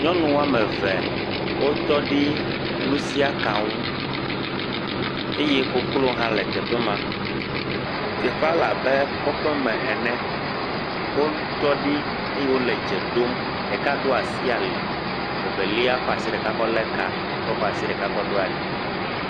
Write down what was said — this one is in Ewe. Nyɔnu wo ame eve wotɔ ɖe nusiaka ŋu. Eye koklo hã le teƒe ma. Teƒea le abe kɔƒem ene. Wotɔ ɖi eye wole dze ɖom. Ɖeka ɖo asi ali. Vevelia kɔ asi ɖeka kɔ lé kaa ye wòkɔ asi ɖeka ɖo ali.